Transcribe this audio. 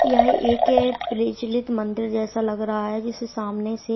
यह एक प्रचलित मंदिर जैसा लग रहा है जिसे सामने से--